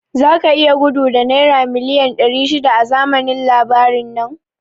Zaka iya gudu da naira miliyan ɗari shida a zamanin labarin nan?